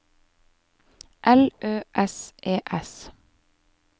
L Ø S E S